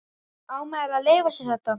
Á maður að leyfa sér þetta?